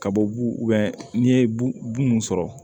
Ka bɔ bu n'i ye bu mun sɔrɔ